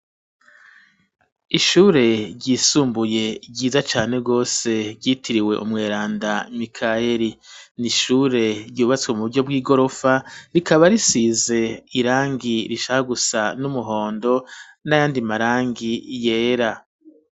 Ishure ryisumbuye ryiza cane rwose ryitiriwe umweranda mikayeri n'ishure ryubatswe mu buryo bw'igorofa rikaba risize irangi rishaka gusa n'umuhondo n'ayandi marangi yera.